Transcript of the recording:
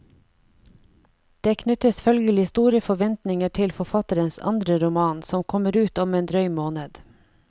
Det knyttes følgelig store forventninger til forfatterens andre roman, som kommer ut om en drøy måned.